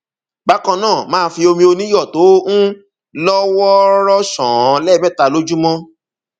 bákan náà máa fi omi oníyọ tó um lọ wọọrọ ṣàn án lẹẹmẹta lójúmọ